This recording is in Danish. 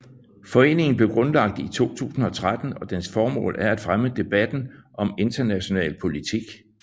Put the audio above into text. Foreningen blev grundlagt i 2013 og dens formål er at fremme debatten om international politik